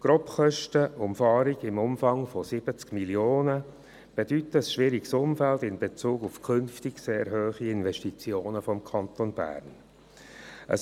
Die Grobkosten der Umfahrung im Umfang von 70 Mio. Franken stehen in einem schwierigen Umfeld, was die künftig sehr hohen Investitionskosten im Kanton Bern betrifft.